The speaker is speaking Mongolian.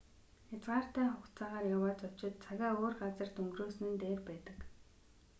хязгаартай хугацаагаар яваа зочид цагаа өөр газарт өнгөрөөсөн нь дээр байдаг